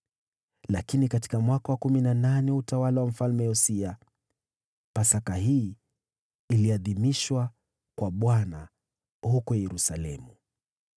Lakini katika mwaka wa kumi na nane wa utawala wa Mfalme Yosia, Pasaka hii iliadhimishwa kwa Bwana huko Yerusalemu.